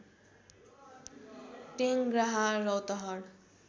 Tengraha Rautahat